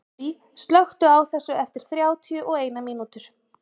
Elsie, slökktu á þessu eftir þrjátíu og eina mínútur.